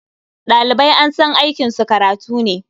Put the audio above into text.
Ɗalibai an san aikinsu karatu ne.